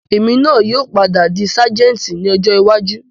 Èmi náà yìí ó padà di sajẹ́ẹ́ntì ni ọjọ́ iwájú